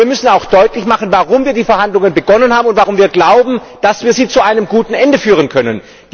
Aber wir müssen auch deutlich machen, warum wir die Verhandlungen begonnen haben und warum wir glauben, dass wir sie zu einem guten Ende führen können.